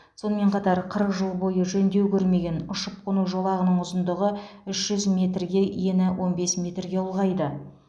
сонымен қатар қырық жыл бойы жөндеу көрмеген ұшып қону жолағының ұзындығы үш жүз метрге ені он бес метрге ұлғайды